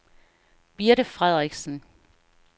Birte Frederiksen